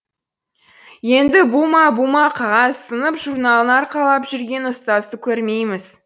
енді бума бума қағаз сынып журналын арқалап жүрген ұстазды көрмейміз